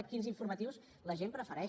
quins informatius la gent prefereix